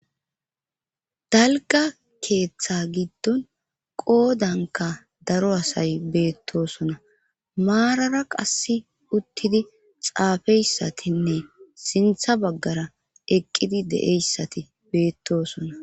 Dalgga keeththa giddon qoodankka daro asay beettosona maarara qassi uttidi xaafeyssatinne siinththa baggara eqqidi de'yssati beettosona